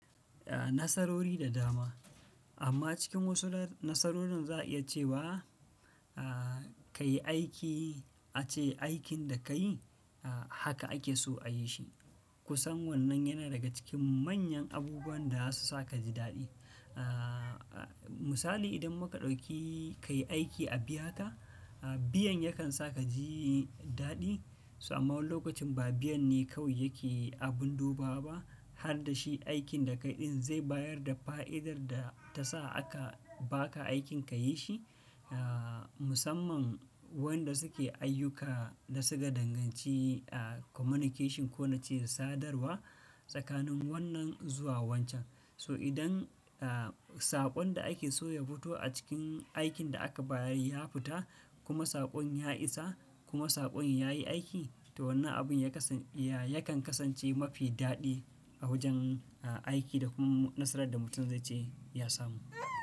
Ah, nasarori da dama. Amma cikin wasu na-nasarorin za a iya cewa, ah, ka yi aiki ace aikin da ka yi, ah, haka ake so a yi shi. Kusan wannan yana daga cikin manyan abubuwan da za su sa ka ji daɗi. Ah, misali idan muka ɗauki ka yi aiki a biyaka, ah, biyan yakan sa ka ji daɗi. So amma lokacin ba biyan ne kawai yake abun duba ba, har da shi aikin da ka yi ɗin zai bayar da fa'idar da ta sa aka ba ka aikin ka yi shi. Ah, musamman waɗanda suke ayyuka da suka danganci ah, communication ko na ce sadarwa tsakanin wannan zuwa wancan. So idan, ah, saƙon da ake so ya fito a cikin aikin da aka bayar ya fita kuma saƙon ya isa kuma saƙon ya yi aiki, to wannan abun ya kasa-ya kan kasance mafi daɗi a wajen, ah, aiki da kuma nasarar da mutum zai ce ya samu.